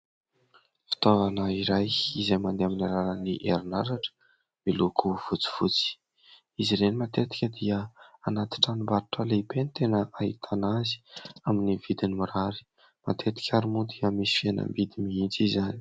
Fitaovana iray izay mandeha amin'ny alalany herinaratra miloko fotsifotsy, izy ireny matetika dia anaty tranombarotra lehibe ny tena ahitana azy, amin'ny vidiny mirary matetika ary moa dia misy fihenam-bidy mihitsy izany.